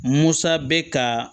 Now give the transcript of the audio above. Musa bɛ ka